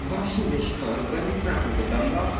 до вообще я считаю разбомбить нахуй этот донбас